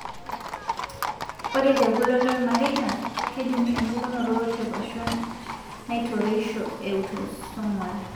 Ore tekulo loormareita, kejung'uni empukunoto tepashon naitoreisho eautosomal.